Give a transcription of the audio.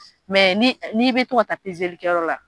n'i bɛ to ka taa la.